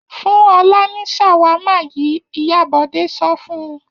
Fún Ọlá ní ṣàwámà yìí! Ìyá Bọ̀dé sọ fún un.